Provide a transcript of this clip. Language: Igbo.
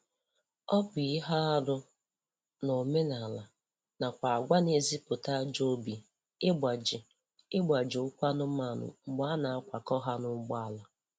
Ọ bụ ihe arụ n'omenaala nakwa agwa na-ezipụta ajọ obi igbaji igbaji ụkwụ anụmanụ mgbe a na-akwakọ ha n'ụgbọala